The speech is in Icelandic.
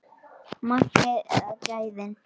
Magnið eða gæðin?